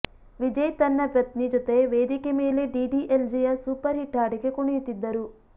ವಿಜಯ್ ತನ್ನ ಪತ್ನಿ ಜೊತೆ ವೇದಿಕೆ ಮೇಲೆ ಡಿಡಿಎಲ್ಜೆಯ ಸೂಪರ್ ಹಿಟ್ ಹಾಡಿಗೆ ಕುಣಿಯುತ್ತಿದ್ದರು